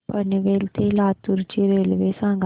पनवेल ते लातूर ची रेल्वे सांगा